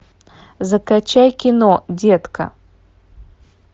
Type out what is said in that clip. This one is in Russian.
закачай кино детка